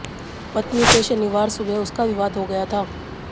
पत्नी से शनिवार सुबह उसका विवाद हो गया था